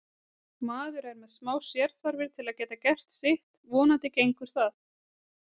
Maður er með smá sérþarfir til að geta gert sitt, vonandi gengur það.